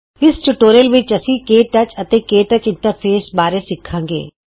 ਇਸ ਟਯੂਟੋਰੀਅਲ ਵਿੱਚ ਤੁਸੀਂ ਕੇ ਟੱਚ ਅਤੇ ਕੇ ਟੱਚ ਇੰਟਰਫੇਸ ਬਾਰੇ ਸਿਖੋਂ ਗੇ